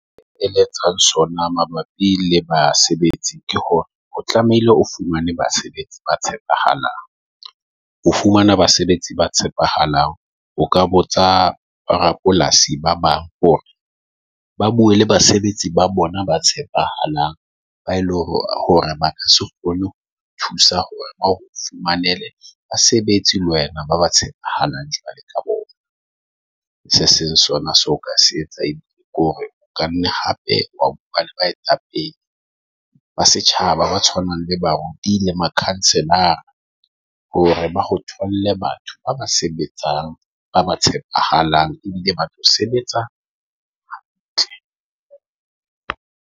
E eletsang sona mabapi le basebetsi ke hore o tlamehile o fumane basebetsi ba tshepahalang, o fumana basebetsi ba tshepahalang. O ka botsa rapolasi ba bang hore ba bue le basebetsi ba bona ba tshepahalang ba e le hore ba ka se kgone ho thusa hore ba o fumanele basebetsi le wena ba ba tshepahalang. Jwale ka bona Se seng sona so ka se etsa ke hore o ka nna hape wa bua le baetapele ba setjhaba, ba tshwanang le baruti le makhanselara hore ba o tholle batho ba ba sebetsang, ba ba tshepahalang ebile ba tlo sebetsa hantle.